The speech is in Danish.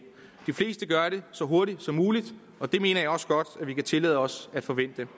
de fleste gør det så hurtigt som muligt og det mener jeg også godt vi kan tillade os at forvente